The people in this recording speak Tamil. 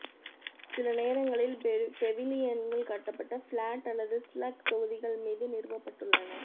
சில நேரங்களில் பெவிலியன்கள் கட்டப்பட்ட பிளாட் அல்லது ஸ்லக் தொகுதிகள் மீது நிறுவப்பட்டுள்ளன